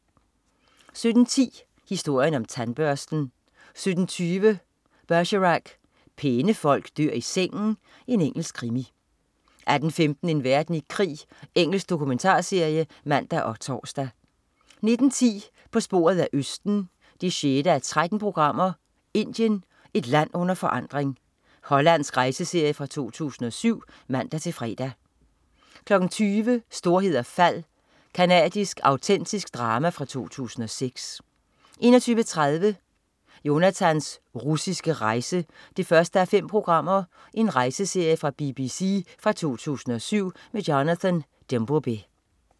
17.10 Historien om tandbørsten 17.20 Bergerac: Pæne folk dør i sengen. Engelsk krimi 18.15 En verden i krig. Engelsk dokumentarserie (man og tors) 19.10 På sporet af østen 6:13. "Indien. Et land under forandring". Hollandsk rejseserie fra 2007 (man-fre) 20.00 Storhed og fald. Canadisk autentisk drama fra 2006 21.30 Jonathans russiske rejse 1:5. Rejseserie fra BBC fra 2007. Jonathan Dimbleby